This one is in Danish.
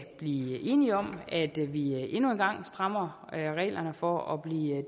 blive enige om at vi endnu en gang strammer reglerne for at blive